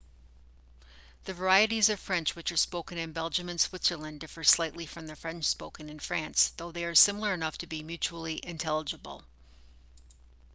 the varieties of french which are spoken in belgium and switzerland differ slightly from the french spoken in france though they are similar enough to be mutually intelligible